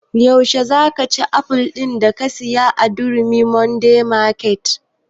Yaushe za ka ci aful din da ka saya a durumi modern market?